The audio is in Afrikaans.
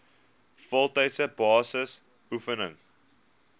voltydse basis beoefen